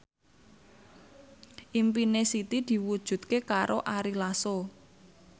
impine Siti diwujudke karo Ari Lasso